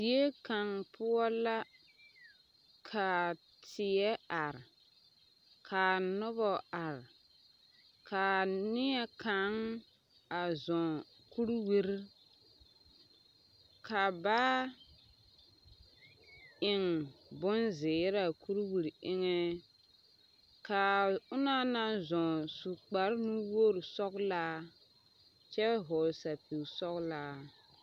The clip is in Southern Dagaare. Die kaŋ poɔ la kaa tie are kaa nobɔ are kaa neɛ kaŋ a zɔɔ kuriwire ka baa eŋ bonzeere a kuriwire eŋɛ kaa onɔŋ naŋ zɔɔ su kparenuwogre sɔglaa kyɛ hɔɔle sɛpige sɔglaa.